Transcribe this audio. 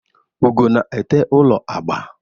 Ugo na-ete ụlọ agba.